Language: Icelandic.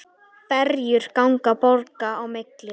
Ferjur ganga borga á milli.